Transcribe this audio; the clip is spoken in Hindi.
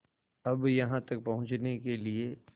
अब यहाँ तक पहुँचने के लिए